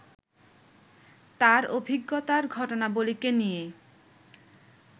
তাঁর অভিজ্ঞতার ঘটনাবলিকে নিয়ে